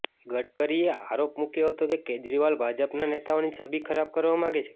ગડકરીએ આરોપ મુક્યો હતો કે કેજરીવાલ ભાજપના નેતાઓની છબી ખરાબ કરવા માગે છે